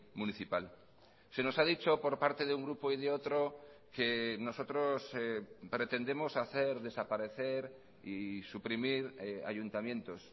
municipal se nos ha dicho por parte de un grupo y de otro que nosotros pretendemos hacer desaparecer y suprimir ayuntamientos